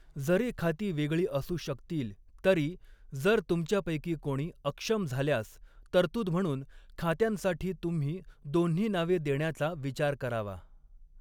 जरी खाती वेगळी असू शकतील, तरी, जर तुमच्यापैकी कोणी अक्षम झाल्यास, तरतूद म्हणून खात्यांसाठी तुम्ही दोन्ही नावे देण्याचा विचार करावा.